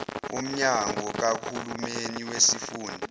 womnyango kahulumeni wesifunda